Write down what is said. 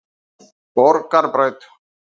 Borgarbraut